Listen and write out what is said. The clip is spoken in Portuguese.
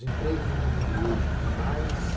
Os empregos no mundo hoje que mais